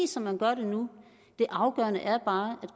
som man gør det nu det afgørende er bare at